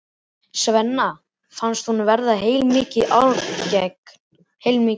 Svenna fannst honum verða heilmikið ágengt.